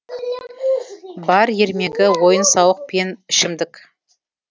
бар ермегі ойын сауық пен ішімдік